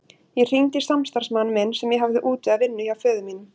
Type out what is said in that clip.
Ég hringdi í samstarfsmann minn sem ég hafði útvegað vinnu hjá föður mínum.